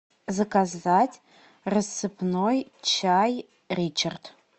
заказать рассыпной чай ричард